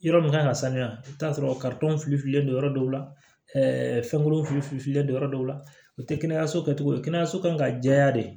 Yɔrɔ min kan ka sanuya i bɛ taa sɔrɔ fili filen don yɔrɔ dɔw la fɛnkuru fili fililen don yɔrɔ dɔw la u te kɛnɛyaso kɛ cogo di kɛnɛyaso kan ka jɛya de